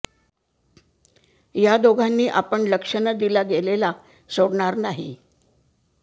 या दोघांनी आपण लक्ष न दिला गेलेला सोडणार नाही